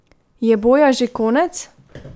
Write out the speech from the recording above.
Je boja že konec?